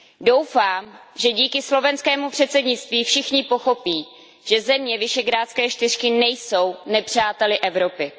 Doufám, že díky slovenskému předsednictví všichni pochopí, že země Visegrádské čtyřky nejsou nepřáteli Evropy.